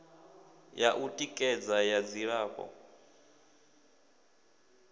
ya u tikedza ya dzilafho